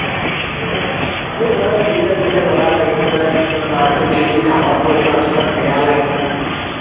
সেইটো আমাৰো ঘৰত দুইটা দুইটা লৰা থাকি পেলাই নিজৰ মাৰটো যদি কামত পঠাও কিমান বেয়া লাগে ন